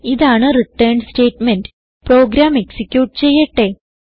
ഇതാണ് return statement program execute ചെയ്യട്ടെ